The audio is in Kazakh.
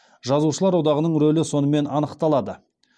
жазушылар одағының рөлі сонымен анықталады